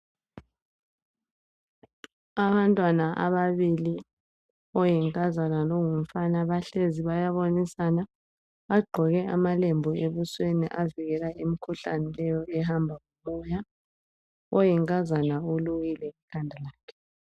Abantwana ababili , oyinkazana longumfana bahlezi , bayabonisana . Bagqoke amalembu ebusweni avikela imikhuhlane leyo ehamba ngomoya. Oyinkazana ulukile ikhanda lakhe .